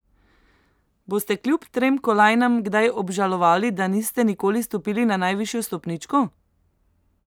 Boste kljub trem kolajnam kdaj obžalovali, da niste nikoli stopili na najvišjo stopničko?